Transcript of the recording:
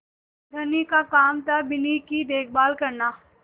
धनी का काम थाबिन्नी की देखभाल करना